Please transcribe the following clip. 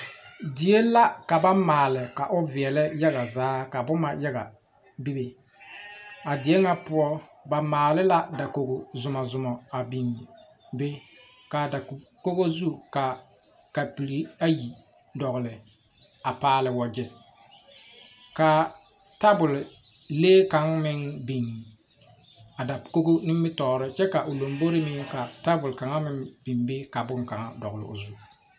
Die la ka ba maale ka o veɛlɛ yaga zaa ka boma yaga be be a die ŋa poɔ ba maale la dakogi zomzoma biŋ a be ka a dakogo zu ka kapiri ayi a dogli a paale wagyɛ ka tabolee kaŋa meŋ biŋ a dakogo nimitɔɔreŋ kyɛ ka a lombori meŋ ka tabol kaŋa meŋ biŋ be ka boŋkaŋa dogli o zu.